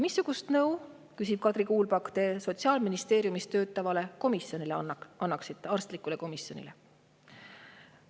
"Missugust nõu," küsib Kadri Kuulpak, "te Sotsiaalministeeriumis töötavale arstlikule komisjonile annaksite?